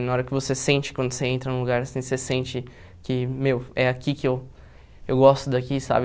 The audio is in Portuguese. Na hora que você sente quando você entra num lugar assim, você sente que, meu, é aqui que eu eu gosto daqui, sabe?